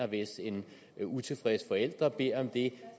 hvis en utilfreds forælder beder om det